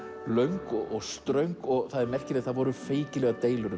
löng og ströng og það er merkilegt að það voru feikilegar deilur